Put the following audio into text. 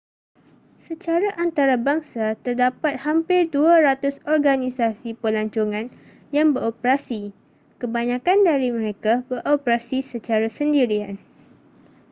secara antarabangsa terdapat hampir 200 organisasi pelancongan yang beroperasi kebanyakan dari mereka beroperasi secara sendirian